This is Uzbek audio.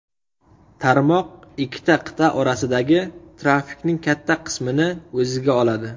Tarmoq ikki qit’a orasidagi trafikning katta qismini o‘ziga oladi.